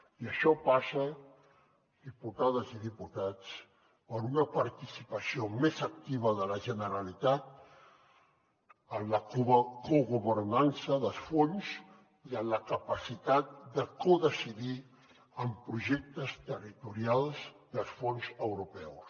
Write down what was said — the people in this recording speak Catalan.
i això passa diputades i diputats per una participació més activa de la generalitat en la cogovernança de fons i en la capacitat de codecidir en projectes territorials dels fons europeus